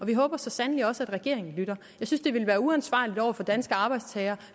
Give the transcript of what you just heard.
vi håber så sandelig også at regeringen lytter jeg synes det ville være uansvarligt over for danske arbejdstagere